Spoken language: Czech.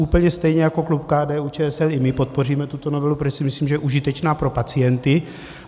Úplně stejně jako klub KDU-ČSL i my podpoříme tuto novelu, protože si myslím, že je užitečná pro pacienty.